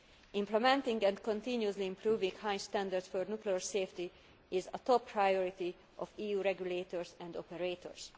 Implementing and continually improving the high standards for nuclear safety is a top priority for EU regulators and operators